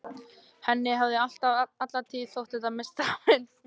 Henni hafði alla tíð þótt þetta hin mesta firra.